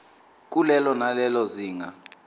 kulelo nalelo zinga